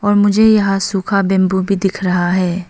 और मुझे यहां सूखा बैंबू भी दिख रहा है।